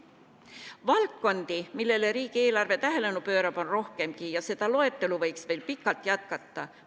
Valdkondi, millele riigieelarve tähelepanu pöörab, on rohkemgi ja seda loetelu võiks veel pikalt jätkata.